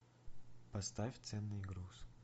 поставь ценный груз